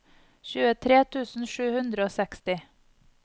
tjuetre tusen sju hundre og seksti